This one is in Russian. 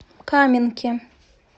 каменке